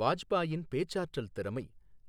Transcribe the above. வாஜ்பாயின் பேச்சாற்றல் திறமை,